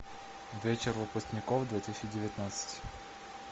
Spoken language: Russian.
вечер выпускников две тысячи девятнадцать